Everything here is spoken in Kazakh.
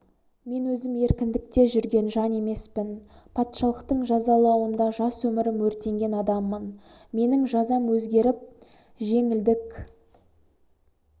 мен өзім еркіндікте жүрген жан емеспін патшалықтың жазалауында жас өмірім өртенген адаммын менің жазам өзгеріп жеңілдік